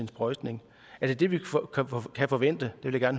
sprøjtningen er det det vi kan forvente det vil jeg